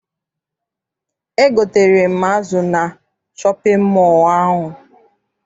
Egotere m azụ na shọpịn mọọ ahụ.